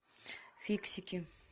фиксики